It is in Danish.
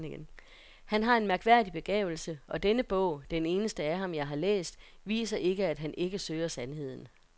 Han har en mærkværdig begavelse og denne bog, den eneste af ham jeg har læst, viser ikke, at han ikke søger sandheden.